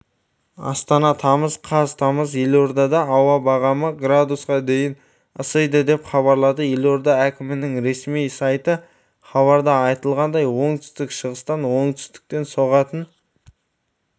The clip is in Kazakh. астана тамыз қаз тамызда елордада ауа бағамы градусқа дейін ысиды деп хабарлады елорда әкімінің ресми сайты хабарда айтылғандай оңтсүтік-шығыстан оңтүстіктен соғатын